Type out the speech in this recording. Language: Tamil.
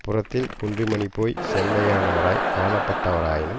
புறத்தில் குன்றிமணிப்போல் செம்மையானவராய் காணப்பட்டாராயினும்